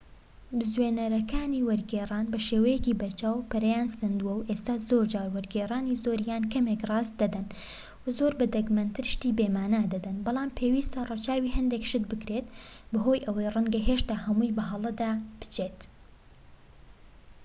بزوێنەرەکانی وەرگێڕان بەشێوەیەکی بەرچاو پەرەیان سەندووە، و ئێستا زۆرجار وەرگێڕانی زۆر یان کەمێک ڕاست دەدەن و زۆر بە دەگمەنتر شتی بێمانا دەدەن، بەڵام پێویستە ڕەچاوی هەندێک شت بکرێت، بەهۆی ئەوەی ڕەنگە هێشتا هەمووی بە هەڵەدا بچێت